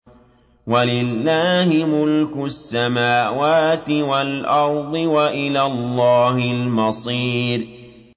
وَلِلَّهِ مُلْكُ السَّمَاوَاتِ وَالْأَرْضِ ۖ وَإِلَى اللَّهِ الْمَصِيرُ